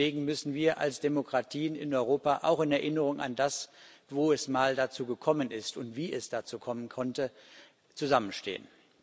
Deswegen müssen wir als Demokratien in Europa auch in Erinnerung an das, wozu es einmal gekommen ist und wie es dazu kommen konnte zusammenstehen.